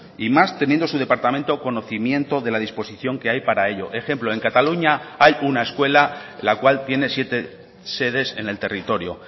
y más teniendo su departamento conocimiento de la disposición que hay para ello ejemplo en cataluña hay una escuela la cual tiene siete sedes en el territorio